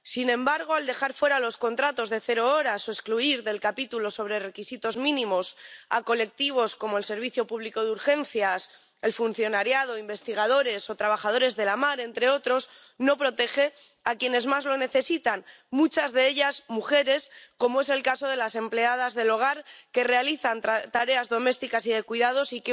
Sin embargo, al dejar fuera los contratos de cero horas o excluir del capítulo sobre requisitos mínimos a colectivos como el servicio público de urgencias, el funcionariado, los investigadores o los trabajadores de la mar —entre otros—, no protege a las personas que más lo necesitan, muchas de ellas mujeres, como es el caso de las empleadas del hogar que realizan tareas domésticas y de cuidados y